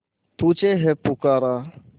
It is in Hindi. तुझे है पुकारा